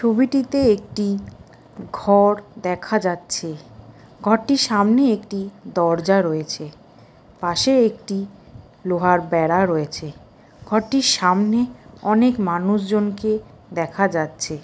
ছবিটিতে একটি ঘর দেখা যাচ্ছে ঘরটির সামনে একটি দরজা রয়েছে পাশে একটি লোহার বেড়া রয়েছে ঘরটির সামনে অনেক মানুষজনকে দেখা যাচ্ছে।